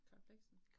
Karen Blixen